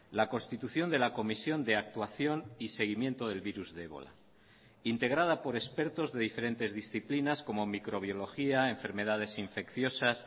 la constitución de la comisión de actuación y seguimiento del virus de ébola integrada por expertos de diferentes disciplinas como microbiología enfermedades infecciosas